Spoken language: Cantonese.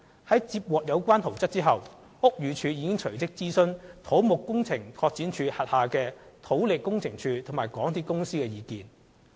而接獲有關圖則後，屋宇署隨即諮詢土木工程拓展署轄下的土力工程處及港鐵公司的意見。